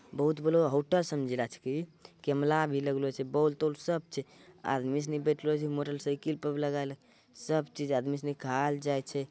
बहुत बड़ा होटल समझलो छै कि कैमरा भी लगलो छै बल्ब -तोल सब छै आदमी सभी बैठलों छै मोटर साइकिल पे लगायल सब चीज आदमी सभी खाय ले जाय छै।